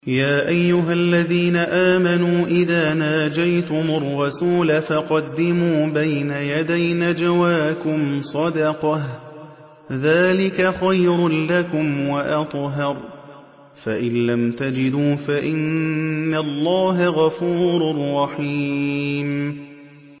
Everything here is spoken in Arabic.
يَا أَيُّهَا الَّذِينَ آمَنُوا إِذَا نَاجَيْتُمُ الرَّسُولَ فَقَدِّمُوا بَيْنَ يَدَيْ نَجْوَاكُمْ صَدَقَةً ۚ ذَٰلِكَ خَيْرٌ لَّكُمْ وَأَطْهَرُ ۚ فَإِن لَّمْ تَجِدُوا فَإِنَّ اللَّهَ غَفُورٌ رَّحِيمٌ